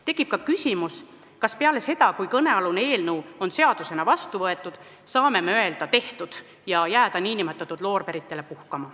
Tekib ka küsimus, kas peale seda, kui kõnealune eelnõu on seadusena vastu võetud, saame me öelda "Tehtud!" ja n-ö jääda loorberitele puhkama.